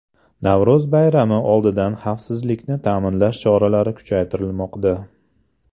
Navro‘z bayrami oldidan xavfsizlikni ta’minlash choralari kuchaytirilmoqda.